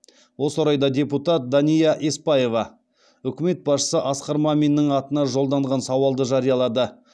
осы орайда депутат дания еспаева үкімет басшысы асқар маминнің атына жолданған сауалды жариялады